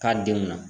K'a denw na